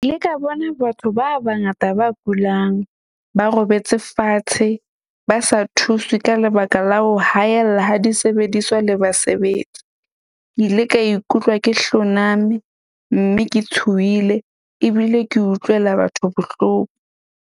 Ka bona batho ba bangata ba kulang, ba robetse fatshe, ba sa thuswe ka lebaka la ho haella ha disebediswa le basebetsi. Ke ile ka ikutlwa ke hloname mme ke tshohile ebile ke utlwela batho bohloko.